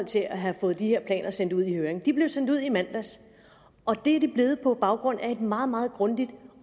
til at have fået de her planer sendt ud i høring de blev sendt ud i mandags og det er de blevet på baggrund af et meget meget grundigt